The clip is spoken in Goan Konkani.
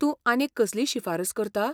तूं आनीक कसलीय शिफारस करता?